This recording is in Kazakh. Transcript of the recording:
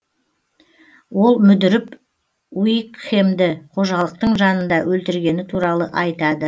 ол мүдіріп уикхемді қожалықтың жанында өлтіргені туралы айтады